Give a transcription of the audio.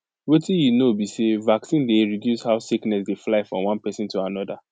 wetin you know be say vaccine dey reduce how sickness dey fly from one person to another